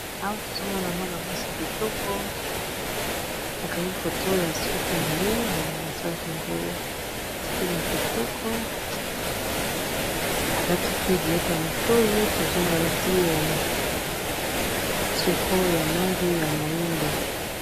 Awa tozomona mwana ya mwasi ya kitoko akangi foto ya suki naye basalaki yango style ya kitoko alati pe biloko ya motoyi tozomona alati tricot ya langi ya moyindo.